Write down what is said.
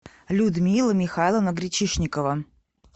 людмила михайловна гречишникова